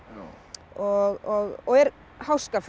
og og er